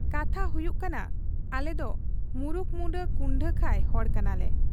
ᱠᱟᱛᱷᱟ ᱦᱩᱭᱩᱜ ᱠᱟᱱᱟ ᱟᱞᱮᱫᱚ ᱢᱩᱨᱩᱠᱢᱩᱸᱰᱟᱹ ᱠᱩᱱᱰᱟᱹᱠᱷᱟᱹᱭ ᱦᱚᱲ ᱠᱟᱱᱟᱞᱮ ᱾